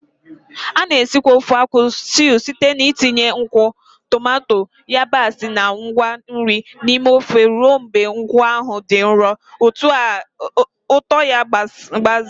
A na-esikwa ofe akwu stew site n'itinye nkwụ, tomato, yabasị, na ngwa nri n'ime ofe ruo mgbe nkwụ ahụ dị nro, ụtọ ya gbazee.